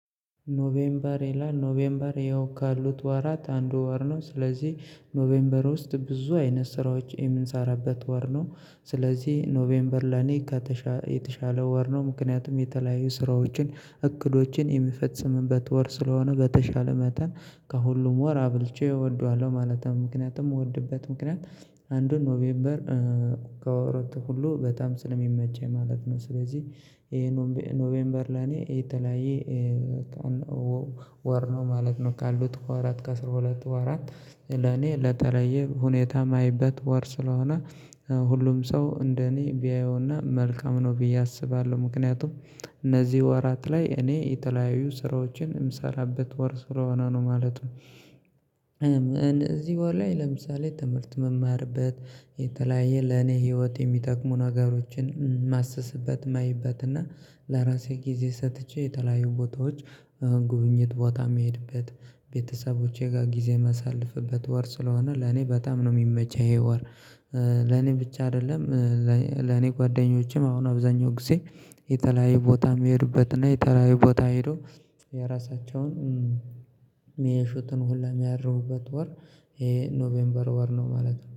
ኖቬምበር ይላል ኖቬምበር ያው ካሉት ዋራት አንድ ወር ነው ስለዚህ ኖቬምበር ውስጥ ብዙ አይነት ስራዎች የምንሰራበት ወር ነው። ስለዚህ ኖቬምበር ላይ። የተሻለ ወር ነው ምክንያቱም የተለያዩ ስራዎችን እቅዶችን የሚፈጽምበት ወር ስለሆነ በተሻለ መጠን ከሁሉም ወር አብልጬ እወደዋለሁ ማለት ነው። ምክንያቱም ምወድበት ምክንያት አንዱን ኖቬምበር ከወራት ሁሉ በጣም ስለሚመቸኝ ማለት ነው። ስለዚህ ኖቬምበር ለኔ የተለያየ ወር ነው ማለት ነው። ካሉት ከወራት ከአስራ ሁለት ወራት ለኔ ለተለየ ሁኔታ የማይበት ወር ስለሆነ። ሁሉም ሰው እንደኔ ቢያየውና መልካም ነው ብዬ አስባለሁ ምክንያቱም እነዚህ ወራት ላይ እኔ የተለያዩ ስራዎችን የምሰራበት ወር ስለሆነ ነው ማለት ነው። ለምሳሌ ትምህርት መማርበት የተለያየ ለኔ ህይወት የሚጠቅሙ ነገሮችን ማሰስበት ማይበትና ለራሴ ጊዜ ሰጥቼ የተለያዩ ቦታዎች ጉብኝት ቦታ የሚሄድበት ቤተሰቦቼ ጋር ጊዜ የማሳልፍበት ወር ስለሆነ ለኔ በጣም ነው የሚመች ይሄ ወር። ለኔ ብቻ አይደለም። ለኔ ጓደኞቼም አሁን አብዛኛው ጊዜ የተለያየ ቦታ የሚሄድበትና የተላይ ቦታ ሄዶ የራሳቸውን የሚያሹትን ሁላ የሚያርቡበት ወር። ይሄ ኖቬምበር ወር ነው ማለት ነው